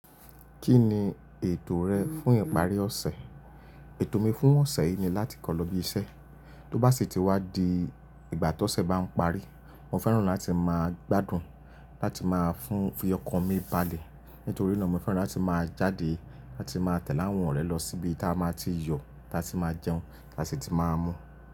Kí ni ètò rẹ fún ìparí ọ̀sẹ̀? Ètò mi fún ọ̀sẹ̀ yìí ni láti kọ́ lọ ibi iṣẹ́, tó bá sì ti wá di ìgbà tó ọ̀sẹ̀ bá ń parí, mo fẹ́ràn láti máa gbádùn láti máa fún fi ọkọ̀ mi balẹ̀. Nítorí náà mo fẹ́ràn láti máa jáde láti máa tẹ̀lẹ́ àwọn ọ̀rẹ́ lọ síbi tí a máa ti yọ̀, tí a sì máa jẹun, tí a sì ti máa mú.